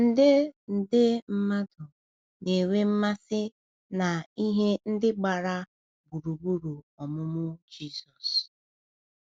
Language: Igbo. nde nde mmadụ na-enwe mmasị na ihe ndị gbara gburugburu ọmụmụ Jizọs.